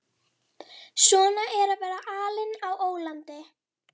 Svona er að vera alinn á ólandi.